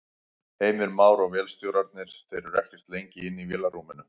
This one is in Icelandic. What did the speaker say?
Heimir Már: Og vélstjórarnir, þeir eru ekkert lengi inni í vélarrúminu?